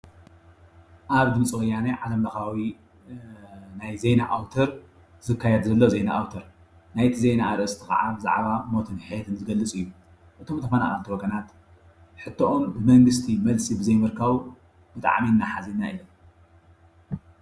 ኣብ ድምፂ ወያነ ዓለምለኻዊ ናይ ዜና ኣውተር ዝካየድ ዘሎ ዜና ኣውተር ናይቲ ዜና ኣርእስቲ ካዓ ሞትን ሕየትን ዝገልፅ እዩ እቶም ተፈናቐልቲ ወገናት ሕቶኦም ብመንግስቲ መልሲ ብዘይ ምርካቦም ብጣዕሚ እዳሓዘና ኢና።